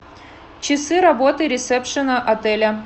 часы работы ресепшена отеля